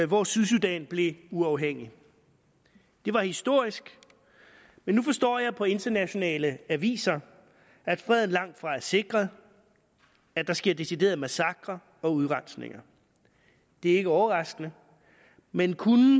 hvor sydsudan blev uafhængig det var historisk men nu forstår jeg på internationale aviser at freden langtfra er sikret at der sker deciderede massakrer og udrensninger det er ikke overraskende men kunne